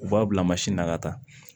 U b'a bila na ka taa